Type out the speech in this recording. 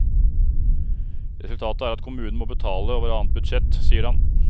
Resultatet er at kommunen må betale over annet budsjett, sier han.